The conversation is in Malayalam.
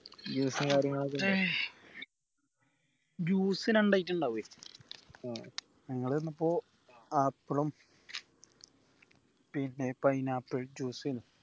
juice രണ്ട് item ഇണ്ടാവ്എ ആഹ് ഞങ്ങൾ ചെന്നപ്പോ apple ഉം പിന്നെ pineapple juice ഏനു